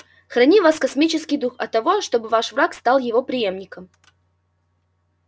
храни вас космический дух от того чтобы ваш враг стал его преемником